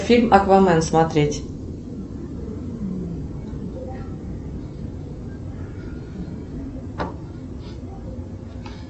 фильм аквамен смотреть